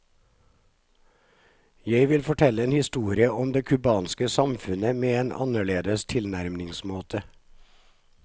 Jeg ville fortelle en historie om det kubanske samfunnet med en annerledes tilnærmingsmåte.